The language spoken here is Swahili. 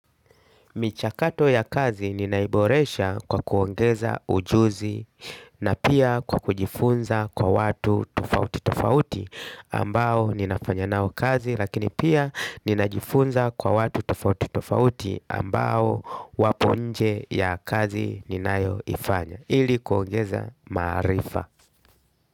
Michakato ya kazi ninaiboresha kwa kuongeza ujuzi na pia kwa kujifunza kwa watu tofauti tofauti ambao ninafanya nao kazi lakini pia ninajifunza kwa watu tofauti tofauti ambao wapo nje ya kazi ninayoifanya ili kuongeza maarifa.